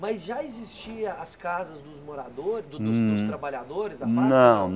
Mas já existia as casas dos moradores, do do dos trabalhadores Hum Da fábrica? Não